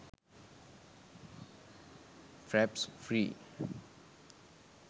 fraps free